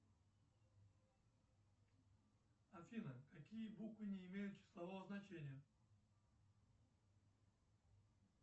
афина какие буквы не имеют числового значения